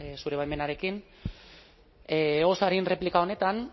zure baimenarekin oso arin erreplika honetan